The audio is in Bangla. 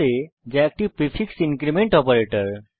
a যা একটি প্রিফিক্স ইনক্রীমেন্ট অপারেটর